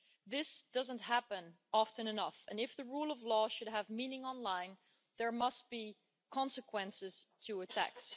This does not happen often enough, and if the rule of law should have meaning online there must be consequences to attacks.